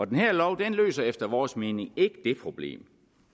den her lov løser efter vores mening ikke det problem